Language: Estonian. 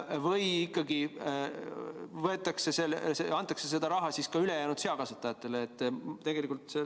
Või antakse see raha ikkagi ülejäänud seakasvatajatele?